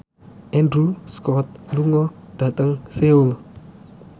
Andrew Scott lunga dhateng Seoul